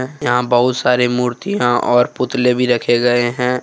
यहां बहुत सारे मूर्तियां और पुतले भी रखे गए हैं।